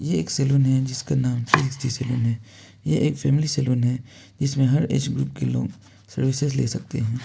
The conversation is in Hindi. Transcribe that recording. ये एक सलून है जिसका नाम थ्री सिक्सटी सलून है ये एक फैमिली सलून है जिसमें हर एज ग्रुप के लोग सर्विसेज ले सकते हैं।